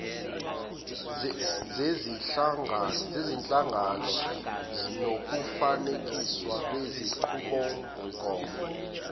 zezinhlangano nokufanekiswa kwezinqubomgomo